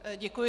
Děkuji.